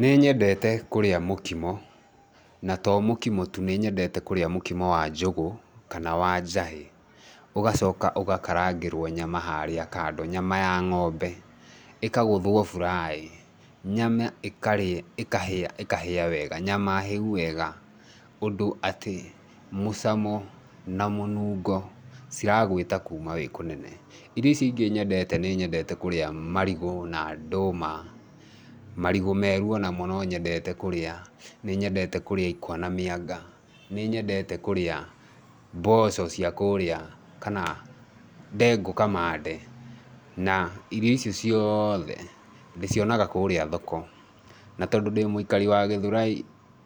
Nĩyendete kũrĩa mũkimo na to mũkimo tu nĩnyendete kũrĩa mũkomo wa njũgũ kana wa njahĩ. Ũgacoka ũgakarangĩrwo nyama harĩa kando nyama ya ng'ombe ĩkagũthwo fry nyama ĩkahĩa wega, nyama hĩu wega. Ũndũ atĩ mũcamo na mũnungo ciragwĩta kuma wĩ kũnene. Irio icio ingĩ nyendete nĩyendete kũrĩa marigũ na ndũma. Marigũ meru onamo no nyendete kũrĩa, nĩ nyendete kũrĩa ikwa na mĩanga. Nĩnyendete kũrĩa mboco cia kũrĩa kana ndengũ kamande, na irio icio ciothe ndĩcionaga kũrĩa thoko. Na tondũ ndĩ mũikari wa Gĩthurai